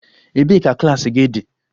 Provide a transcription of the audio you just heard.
Ebee ka klas gị dị?